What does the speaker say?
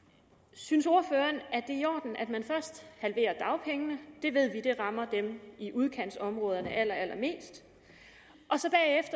synes ordføreren at det i orden at man først halverer dagpengene det ved vi rammer dem i udkantsområderne allerallermest